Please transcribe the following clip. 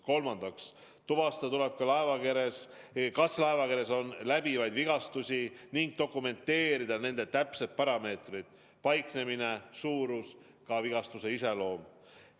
Kolmandaks, tuvastada tuleb ka, kas laevakeres on läbivaid vigastusi, ning kui on, siis dokumenteerida nende täpsed parameetrid, paiknemine, suurus, ka vigastuste iseloom.